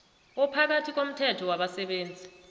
ophakathi komthelo wabasebenzi